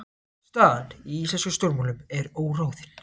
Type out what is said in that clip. Staðan í íslenskum stjórnmálum er óráðin